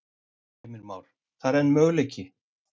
Heimir Már: Það er einn möguleiki?